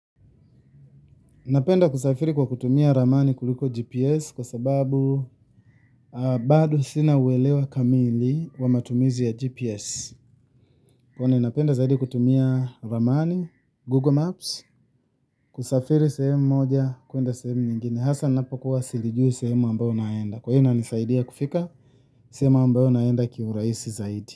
Napenda kusafiri kwa kutumia ramani kuliko GPS kwa sababu bado sina uwelewa kamili wa matumizi ya GPS. Kuwa ninapenda zaidi kutumia ramani, Google Maps, kusafiri sehemu moja kuenda sehemu nyingine. Hasa ninapokuwa silijui sehemu ambayo naenda. Kwa hii ina nisaidia kufika sehemu ambayo naenda kiurahisi zaidi.